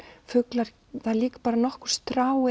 fuglar það eru líka nokkur strá